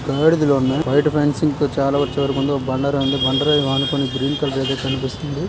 గాడిదలున్నాయి బయట పించింగ్ కి చాలా వచ్చే వరకు ముందు ఓ బండ రాయి ఉంది బండ రాయికి అనుకోని గ్రీన్ కలర్ అయితే కనిపిస్తుంది.